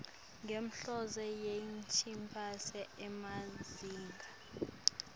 ngenhloso yekunciphisa emazinga